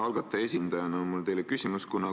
Algataja esindajana on mul teile küsimus.